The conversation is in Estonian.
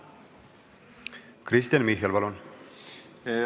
Kristen Michal, palun!